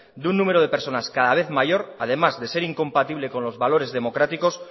de un número de personas cada vez mayor además de ser incompatibles con los valores democráticos